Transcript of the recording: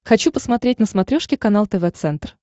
хочу посмотреть на смотрешке канал тв центр